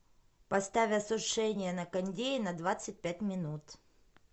поставь осушение на кондее на двадцать пять минут